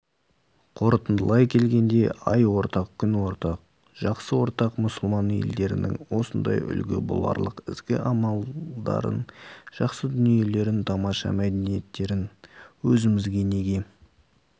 қорытындылай келгенде ай ортақ күн ортақ жақсы ортақ мұсылман елдерінің осындай үлгі боларлық ізгі амалдарын жақсы дүниелерін тамаша мәдениеттерін өзімізге неге